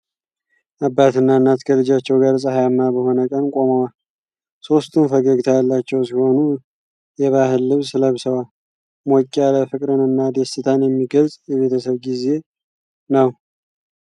አባትና እናት ከልጃቸው ጋር ፀሐያማ በሆነ ቀን ቆመዋል። ሦስቱም ፈገግታ ያላቸው ሲሆኑ የባህል ልብስ ለብሰዋል። ሞቅ ያለ ፍቅርንና ደስታን የሚገልጽ የቤተሰብ ጊዜ ነው።